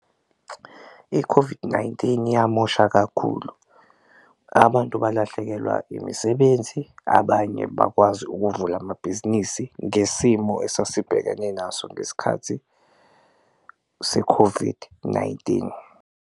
I-COVID-19 yamosha kakhulu, abantu balahlekelwa imisebenzi, abanye bakwazi ukuvula amabhizinisi ngesimo esasibhekene naso ngesikhathi se-COVID-19.